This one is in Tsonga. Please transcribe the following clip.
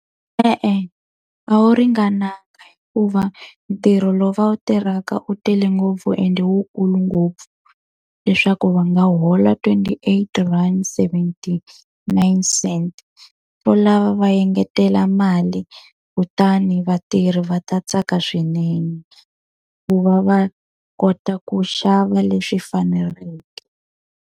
E-e a wu ringananga hikuva ntirho lowu va wu tirhaka u tele ngopfu ende wu kulu ngopfu, leswaku va nga hola twenty-eight rand seventy-nine cent. Swo lava va engetela mali kutani vatirhi va ta tsaka swinene, ku va va kota ku xava leswi faneleke.